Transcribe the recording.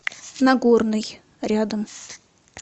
нагорный рядом